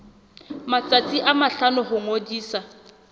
matsatsi a mahlano ho ngodisa